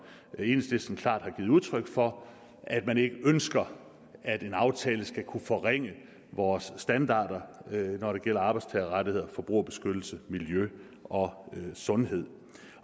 enhedslisten klart har givet udtryk for at man ikke ønsker at den aftale skal kunne forringe vores standarder når det gælder arbejdstagerrettigheder forbrugerbeskyttelse miljø og sundhed